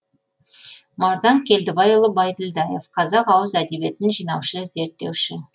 мардан келдібайұлы байділдаев қазақ ауыз әдебиетін жинаушы зерттеуші